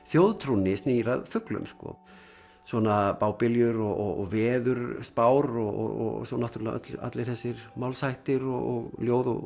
þjóðtrúnni snýr að fuglum svona bábiljur og veðurspár og svo náttúrulega allir þessir málshættir og ljóð og